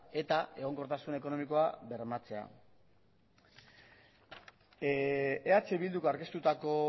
eta egonkortasun ekonomikoa bermatzea eh bilduk aurkeztutako